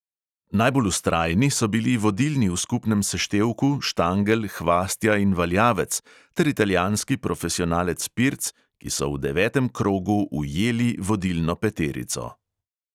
Najbolj vztrajni so bili vodilni v skupnem seštevku štangelj, hvastja in valjavec ter italijanski profesionalec pirc, ki so v devetem krogu ujeli vodilno peterico.